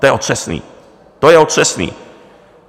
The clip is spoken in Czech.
To je otřesný, to je otřesný.